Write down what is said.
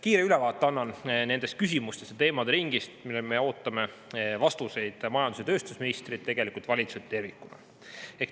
Kiire ülevaate annan nendest küsimustest ja teemade ringist, millele me ootame vastuseid majandus- ja tööstusministrilt, tegelikult valitsuselt tervikuna.